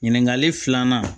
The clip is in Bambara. Ɲininkali filanan